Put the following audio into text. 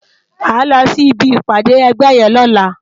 Má lò si bi ipàdé ègbè yèn lòlá